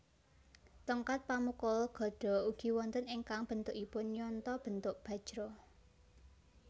Tongkat pamukul gada ugi wonten ingkang bentukipun nyonto bentuk bajra